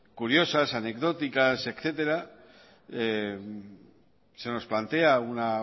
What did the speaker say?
curiosas anecdóticas etcétera se nos plantea una